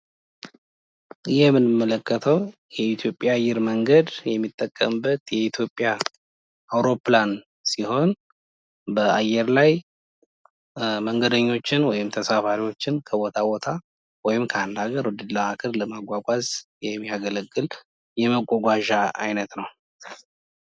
ይህ የምንመለከተው የኢትዮጵያ አየር መንገድ የሚጠቀምበት የኢትዮጵያ አውሮፕላን ሲሆን በአየር ላይ መንገደኞችን ወይም ተሳባሪዎችን ከቦታ ከቦታ ወይም ከአንድ አገር ወደ አንድ አገር ለማጓጓዝ የሚያገለግል የመጓጓዣ አይነት ነው።